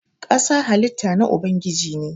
ƙasa halitta na Ubangiji ne.